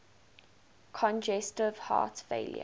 congestive heart failure